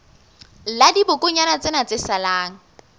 la dibokonyana tsena tse salang